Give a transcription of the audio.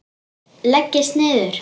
Leggist niður.